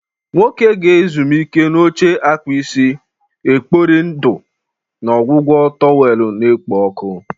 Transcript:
Nwoke ga-ezumike n'oche-akpụ isi na-ekpori ndụ na ọgwụgwọ towel na-ekpo ọkụ.